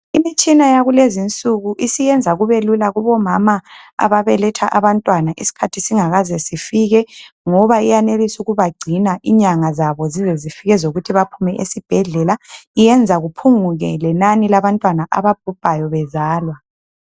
Imitshina yakulezi insuku isisenza kubelula kubomama ababeletha abantwana isikhathi singakaze sifike ngoba iyanelisa ukubagcina inyanga zabo zize zifike ezokuthi baphume esibhedlela iyenza kuphunguke lenani labantwana ababhubhayo bezalwa.